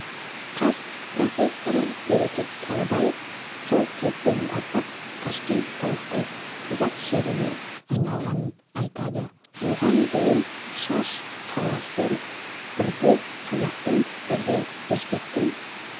қаз профессоры берекет кәрібаев сол кезден бастап ташкент толықтай қазақ жеріне айналғанын айтады оған дейін шаш қаласы бірде қазақтың бірде өзбектің